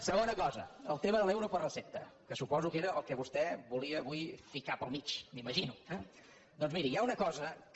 segona cosa el tema de l’euro per recepta que suposo que era el que vostè volia avui ficar pel mig m’imagino eh doncs miri hi ha una cosa que